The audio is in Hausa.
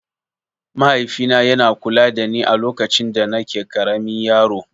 Mahaifina yana kula dani alokacin danake ƙaramin yaro.